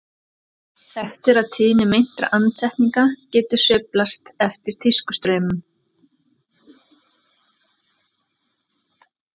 þekkt er að tíðni meintra andsetninga getur sveiflast eftir tískustraumum